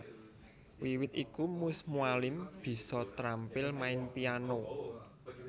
Wiwit iku Mus Mualim bisa trampil main piano